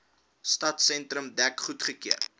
stadsentrum dek goedgekeur